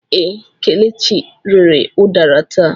Ee, Kelechi rere udara taa.